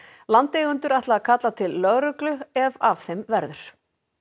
landeigendur ætla að kalla til lögreglu ef af þeim verður